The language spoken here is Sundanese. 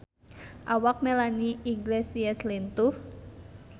Awak Melanie Iglesias lintuh